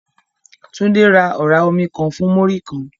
Tunde ra ọ̀rá omi kan fún Múrí-kan